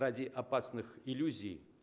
ради опасных иллюзий